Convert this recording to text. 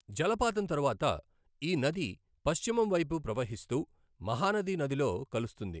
జలపాతం తరువాత, ఈ నది పశ్చిమం వైపు ప్రవహిస్తూ మహానది నదిలో కలుస్తుంది.